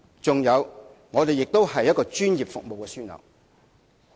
此外，香港也是一個專業服務樞紐。